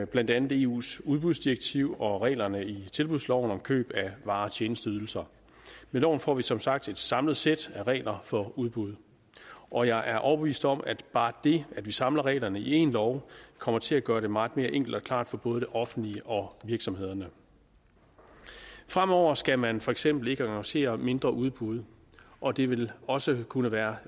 blandt andet eus udbudsdirektiv og reglerne i tilbudsloven om køb af varer og tjenesteydelser med loven får vi som sagt et samlet sæt regler for udbud og jeg er overbevist om at bare det at vi samler reglerne i en lov kommer til at gøre det meget mere enkelt og klart for både det offentlige og virksomhederne fremover skal man for eksempel ikke annoncere mindre udbud og det vil også kunne være